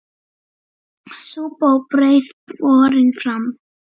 Súpa og brauð borin fram.